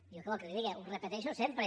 jo què vol que li diga ho repeteixo sempre